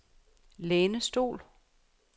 lænestol